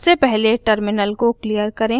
सबसे पहले टर्मिनल को क्लियर करें